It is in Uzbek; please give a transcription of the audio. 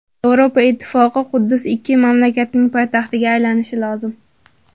Yevropa Ittifoqi: Quddus ikki mamlakatning poytaxtiga aylanishi lozim.